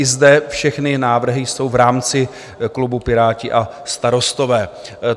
I zde všechny návrhy jsou v rámci klubu Piráti a Starostové.